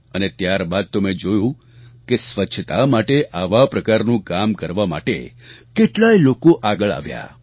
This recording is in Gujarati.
અને ત્યારબાદ તો મેં જોયું કે સ્વચ્છતા માટે આવા પ્રકારનું કામ કરવા માટે કેટલાય લોકો આગળ આવ્યા